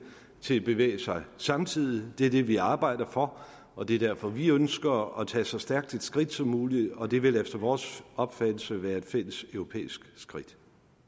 til at bevæge sig samtidigt det er det vi arbejder for og det er derfor vi ønsker at tage så stærkt et skridt som muligt og det vil efter vores opfattelse være et fælles europæisk skridt